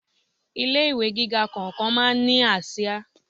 Ilé ìwé gíga kọ̀ọ̀kan máa ń ní àsìá.